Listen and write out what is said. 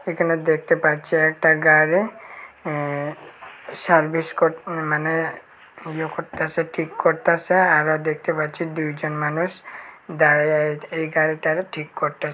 এখানে দেখতে পাচ্ছি একটা গাড়ি অ্যা সার্ভিস কর মানে ইয়ে করতাসে ঠিক করতাসে আরও দেখতে পাচ্ছি দুইজন মানুষ দাঁড়ায়ে এই এই গাড়িটারে ঠিক করতাসে।